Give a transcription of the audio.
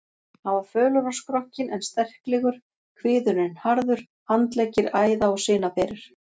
Hann var fölur á skrokkinn en sterklegur, kviðurinn harður, handleggir æða- og sinaberir.